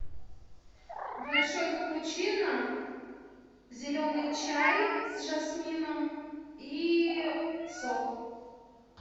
большой капучино зеленый чай с жасмином и сок